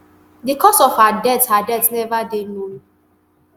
di cause of her death her death neva dey known